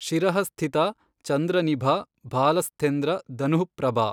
ಶಿರಃಸ್ಥಿತಾ ಚಂದ್ರನಿಭಾ ಭಾಲಸ್ಥೆಂದ್ರ ಧನುಃಫ್ರಭಾ।